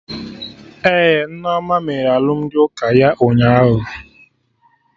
Ee, Nneoma mere alụmdi ụka ya ụnyaahụ